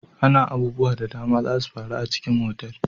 Ana abubuwa da dama zasu faru a cikin otal.